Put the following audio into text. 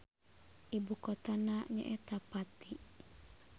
Ibukotana nyaeta Pati.